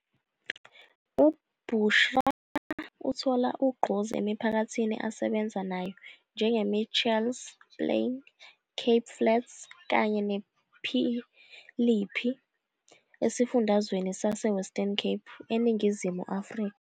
UBushra uthola ugqozi emiphakathini asebenza nayo njengeMitchells Plain, Cape Flats kanye nePhilippi esifundazweni saseWestern Cape eNingizimu Afrika.